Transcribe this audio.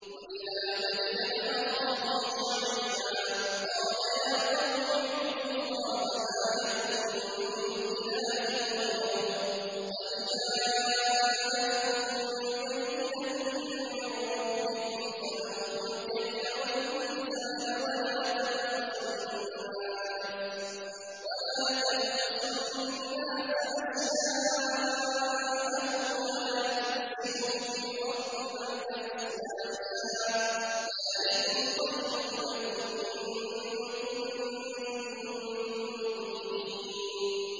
وَإِلَىٰ مَدْيَنَ أَخَاهُمْ شُعَيْبًا ۗ قَالَ يَا قَوْمِ اعْبُدُوا اللَّهَ مَا لَكُم مِّنْ إِلَٰهٍ غَيْرُهُ ۖ قَدْ جَاءَتْكُم بَيِّنَةٌ مِّن رَّبِّكُمْ ۖ فَأَوْفُوا الْكَيْلَ وَالْمِيزَانَ وَلَا تَبْخَسُوا النَّاسَ أَشْيَاءَهُمْ وَلَا تُفْسِدُوا فِي الْأَرْضِ بَعْدَ إِصْلَاحِهَا ۚ ذَٰلِكُمْ خَيْرٌ لَّكُمْ إِن كُنتُم مُّؤْمِنِينَ